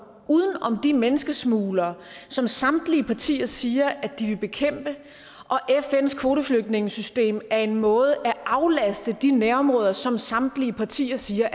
uden om de menneskesmuglere som samtlige partier siger de vil bekæmpe og fns kvoteflygtningesystem er en måde at aflaste de nærområder som samtlige partier siger